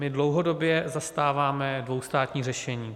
My dlouhodobě zastáváme dvoustátní řešení.